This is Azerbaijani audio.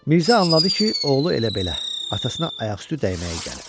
Mirzə anladı ki, oğlu elə belə atasına ayaqüstü dəyməyə gəlib.